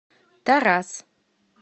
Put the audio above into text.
тараз